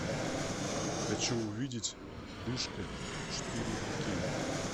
хочу увидеть душка четыре кей